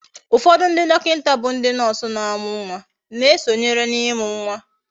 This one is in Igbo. ufodu ndi dokinta bu ndi nurse na amu nwa na esonyere na imu nwa